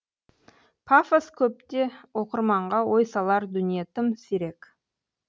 пафос көп те оқырманға ой салар дүние тым сирек